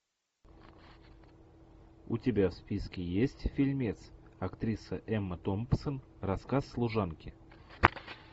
у тебя в списке есть фильмец актриса эмма томпсон рассказ служанки